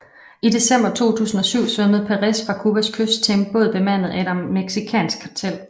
I december 2007 svømmede Perez fra Cubas kyst til en båd bemandet af et mexicansk kartel